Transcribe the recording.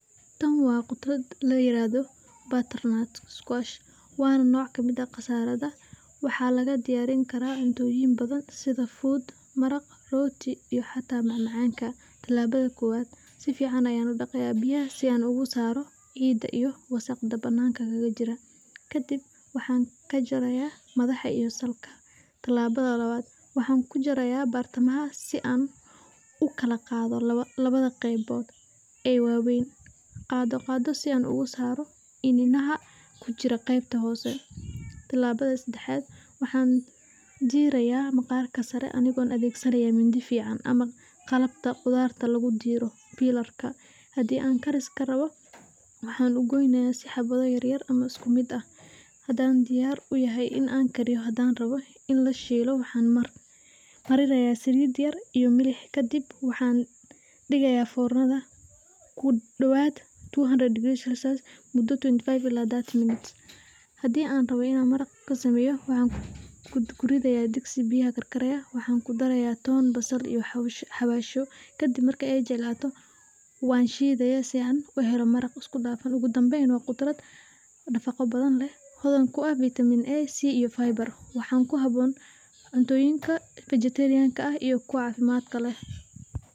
Tan waa khudrad la yiraahdo, waana nooc kamid ah qasaarada, waxaa laga diyaariya cuntoyin badan sida fuud, maraq, rooti iyo xitaa macamacanka, tilaabada kowaad, si fican ayaan udaqaaya biyaha si aan ugu saaro ciida iyo wasaqda banaanka kaga jira, kadib waxaan kajaraaya madaxa iyo salka, tilaabada labaad waxaan kujaraya bartamaha si aan ukala qaado labada qeybood ee waweyn, qaado qaado si aan uga saaro ininaha kujira qeybta Hoose, tilabada sedexaad waxaan diidaya maqarka sare anigo adeegsanaayo mindi fican ama qlabta qudaarta, lagu diiri, hadii aan karis karabo waxaan ugooynaya si aan xabado yaryar ama isku mid ah, hadaan diyaar uyahay in aan kariyo, hadii aan rabo in la shiilo waxaan marinaaya saliid yar iyo milix kadib waxaan digayaa fornada kudawaad, hadii aan rabo inan maraq sameeyo waxaan ku ridaaya digsi biya karkaraaya, waxaan ku daraaya toon, basal iyo xawasho, kadib marka aan jilcaato waan shiidaya si aan uhelo maraq isku dafan, oogu danbeyn waa khudrad nafaqo badan leh, hodan ku ah vitamiino badan, waxaa kuhaboon cuntooyinka cafimaadka leh.